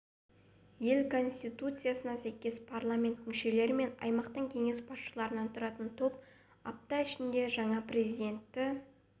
ел конституциясына сәйкес парламент мүшелері мен аймақтың кеңес басшыларынан тұратын топ апта ішінде жаңа президентті